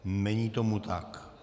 Není tomu tak.